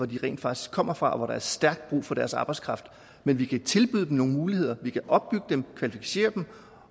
de rent faktisk kommer fra og hvor der er stærkt brug for deres arbejdskraft men vi kan tilbyde dem nogle muligheder vi kan opbygge dem kvalificere dem